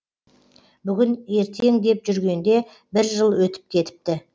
бүгін ертең деп жүргенде бір жыл өтіп кетіпті